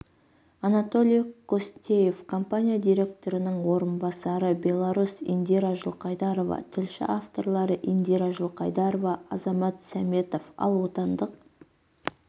анатолий костеев компания директорының орынбасары беларусь индира жылқайдарова тілші авторлары индира жылқайдарова азамат сәметов ал отандық